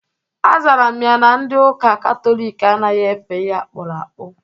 Azara m ya na ndi ụka katọlik anaghị efe ihe akpụrụ akpụ.